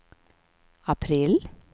april